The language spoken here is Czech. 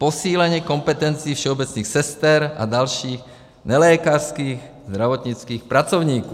Posílení kompetencí všeobecných sester a dalších nelékařských zdravotnických pracovníků.